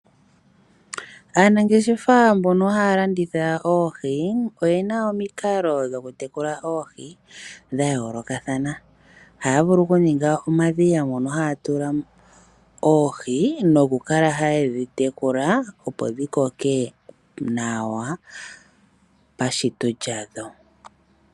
Aanangeshefa mbono haya landitha Oohi oyena omikalo dhoku tekula Oohi dha yoolokathana. Ohaya vulu oku ninga uudhiya mono haya tula Oohi noku kala ha yedhi tekula opo dhi koke nawa pashito lyadho.